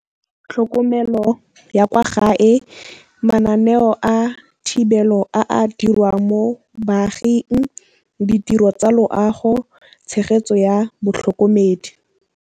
Tlhokomelo ya kwa gae, mananeo a thibelo a a dirwang mo baaging, ditiro tsa loago, tshegetso ya botlhokomedi.